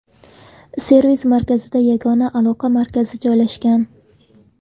Servis-markazida yagona aloqa markazi joylashgan.